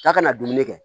K'a kana dumuni kɛ